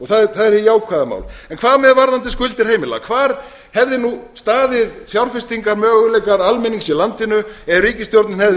er hið jákvæða mál en hvað með varðandi skuldir heimila hvar hefði staðið fjárfestingarmöguleikar almennings í landinu ef ríkisstjórnin hefði